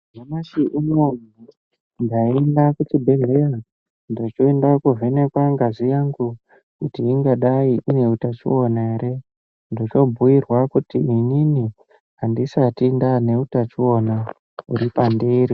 Nyamashi unowu ndaenda kuchibhedhleraa ndochoenda koovhenekwa ngazi yangu, kuti ingadai ine utachiona ere. Ndochoobhuirwa kuti inini andisati ndaane utachiona uri pandiri.